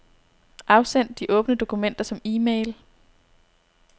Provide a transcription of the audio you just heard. Afsend de åbne dokumenter som e-mail.